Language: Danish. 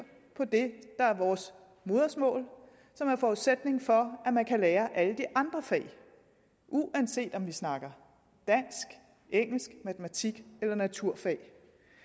på det der er vores modersmål og som er forudsætningen for at man kan lære alle de andre fag uanset om vi snakker dansk engelsk matematik eller naturfag